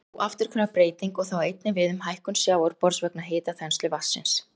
Þetta er óafturkræf breyting og það á einnig við um hækkun sjávarborðs vegna hitaþenslu vatnsins.